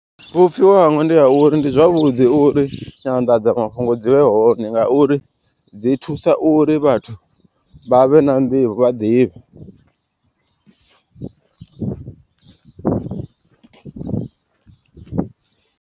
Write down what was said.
Vhupfiwa hanga ndi ha uri ndi zwavhuḓi uri nyanḓadzamafhungo dzi vhe hone. Ngauri dzi thusa uri vhathu vha vhe na nḓivho vha ḓivhe.